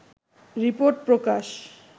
report Prakash